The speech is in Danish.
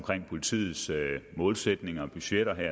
politiets målsætninger og budgetter det